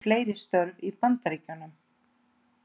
Fleiri störf í Bandaríkjunum